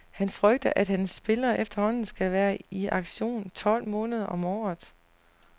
Han frygter, at hans spillere efterhånden skal være i aktion tolv måneder om året.